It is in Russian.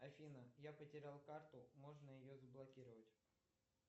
афина я потерял карту можно ее заблокировать